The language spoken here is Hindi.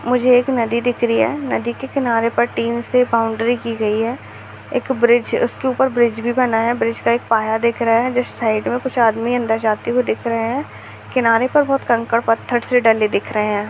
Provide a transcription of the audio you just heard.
मुझे एक नदी दिख रही है नदी के किनारे पर टिन से बाउंड्री की गई है एक ब्रिज उसके ऊपर ब्रिज भी बना है ब्रिज का एक पाया दिख रहा है जिस साइड मे कुछ आदमी अंदर जाते हुए दिख रहे हैं किनारे पर बहोत कंकंर पत्थर से डले दिख रहे हैं।